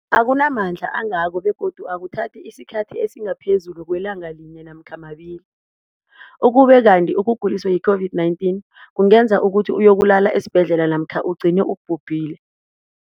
akuna mandla angako begodu akuthathi isikhathi esingaphezulu kwelanga linye namkha mabili, ukube kanti ukuguliswa yi-COVID-19 kungenza ukuthi uyokulala esibhedlela namkha ugcine ubhubhile.